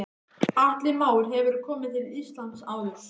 Atli Már: Hefurðu komið til Íslands áður?